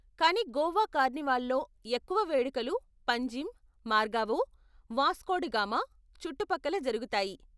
కానీ గోవా కార్నివాల్లో ఎక్కువ వేడుకలు పంజిమ్, మర్గావో, వాస్కో డిగామా చుట్టుపక్కల జరుగుతాయి.